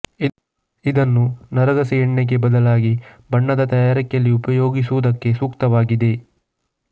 ಇದನ್ನು ನಾರಗಸೆ ಎಣ್ಣೆಗೇ ಬದಲಾಗಿ ಬಣ್ಣದ ತಯಾರಿಕೆಯಲ್ಲಿ ಉಪಯೋಗಿಸುವುದಕ್ಕೆ ಸೂಕ್ತವಾಗಿದೆ